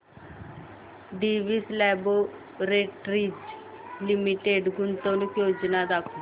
Divi's laboratories limited गुंतवणूक योजना दाखव